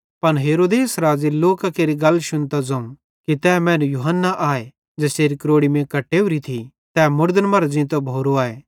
पन हेरोदेस राज़े लोकां केरि गल्लां शुन्तां ज़ोवं कि तै मैनू त यूहन्ना आए ज़ेसेरी क्रोड़ी मीं कट्टेव्री थी तै मुड़दन मरां ज़ींतो भोरो आए